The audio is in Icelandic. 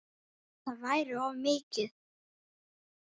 Það væri of mikið.